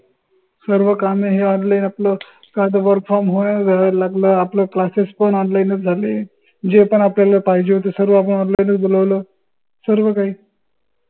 सर्व कामे हे online upload कराच work from home व्हायला लागलं आपलं classes पन online च झाले जे पन आपल्याला पाहिजे होत ते सर्व आपन online च बोलवलं सर्व काही